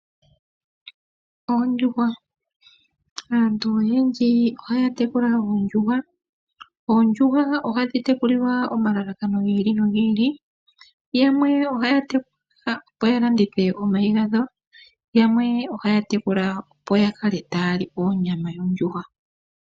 Oondjuhwa, aantu oyendji ohaya tekula oondjuhwa. Oondjuhwa ohadhi tekulilwa omalalakano gi ili nogi ili, yamwe ohaya tekula opo ya landithe omayi gadho, yamwe ohaya tekula opo ya kale taya li onyama yondjuhwa.